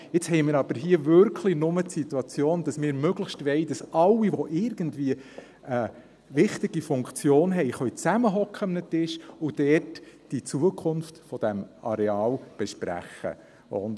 Jetzt haben wir hier aber wirklich nur die Situation, dass wir möglichst wollen, dass alle, die irgendwie eine wichtige Funktion haben, an einem Tisch zusammensitzen und dort die Zukunft dieses Areals besprechen können.